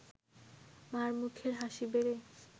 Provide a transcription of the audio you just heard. মা’র মুখের হাসি বেড়ে